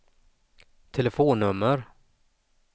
telefonnummer